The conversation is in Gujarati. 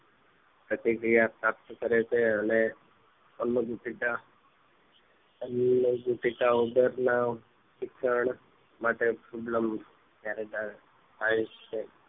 પ્રતિક્રિયા પ્રાપ્ત કરે છે અને અન્ન પેટીકા અન્ન પેટીકા ઉંદર ના શિક્ષણ માટે ઉપ્લન જયારે જયારે થાય છે